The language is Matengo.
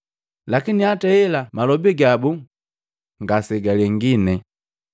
Lakini hataa hela, malobi gabu ngasegalengine.